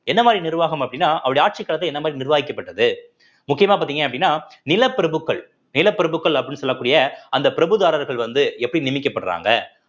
என்ன மாதிரி நிர்வாகம் அப்படின்னா அவருடைய ஆட்சி காலத்துல என்ன மாதிரி நிர்வாகிக்கப்பட்டது முக்கியமா பார்த்தீங்க அப்படின்னா நிலப்பிரப்புகள் நிலப்பிரப்புகள் அப்படின்னு சொல்லக்கூடிய அந்த பிரபுதாரர்கள் வந்து எப்படி நிமிக்கப்படுறாங்க